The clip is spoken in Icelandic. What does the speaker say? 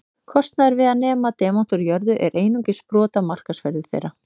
Kostnaður við að nema demanta úr jörðu er einungis brot af markaðsverði þeirra.